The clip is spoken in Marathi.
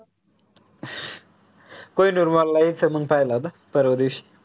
kohinoormall इथ मंग पहिला न परवाच्या दिवशी